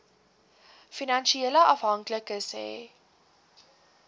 finansiële afhanklikes hê